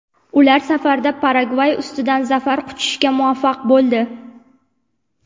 Ular safarda Paragvay ustidan zafar quchishga muvaffaq bo‘ldi.